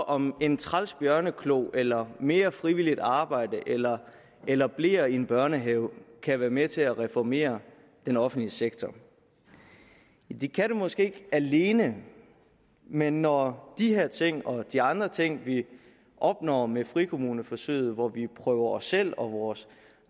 om en træls bjørneklo eller mere frivilligt arbejde eller eller bleer i en børnehave kan være med til at reformere den offentlige sektor det kan det måske ikke alene men når de her ting og de andre ting vi opnår med frikommuneforsøget hvor vi prøver os selv og vores